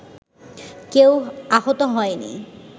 কেউ আহত হয়নি